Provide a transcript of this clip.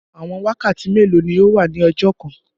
Àwọn wakàtí mẹ́lò ni ọ wà ní ọjọ́ kàn?